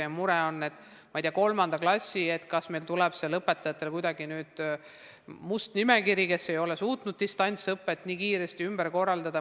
Ja mure on näiteks kolmandas klassis, kas meil tuleb seal õpetajatele nüüd must nimekiri nendest, kes ei ole suutnud distantsõpet nii kiiresti omandada.